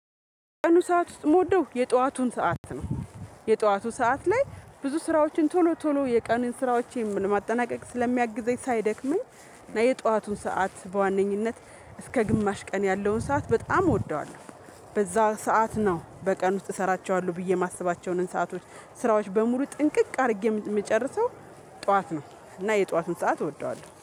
ከቀኑ ሰዓት ውስጥ የምወደው የጠዋቱን ሰዓት ነው። የጠዋቱ ሰዓት ላይ ብዙ ስራዎችን ቶሎ ቶሎ የቀኑን ስራዎችን ለማጠናቀቅ ስለሚያግዘኝ ሳይደክመኝ እና የጠዋቱን ሰዓት በዋነኝነት እስከ ግማሽ ቀን ያለውን ሰዓት በጣም እወደዋለሁ። በዛ ሰዓት ነው በቀን ውስጥ እሰራቸዋለሁ ብዬ የማስባቸውን ሰአቶች ስራዎች በሙሉ ጥንቅቅ አድርጌ የምጨርሰው። ጠዋት ነው እና የጠዋቱን ሰዓት እወደዋለሁ